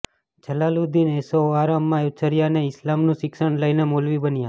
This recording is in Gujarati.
જલાલુદ્દીન ઐશોઆરામમાં ઉછર્યો ને ઈસ્લામનું શિક્ષણ લઈને મૌલવી બન્યો